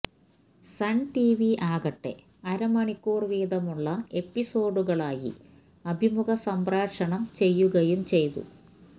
sun TV ആകട്ടെ അരമണിക്കൂര് വീതമുള്ള എപ്പിസോഡുകളായി അഭിമുഖം സംപ്രേക്ഷണം ചെയ്യുകയും ചെയ്തു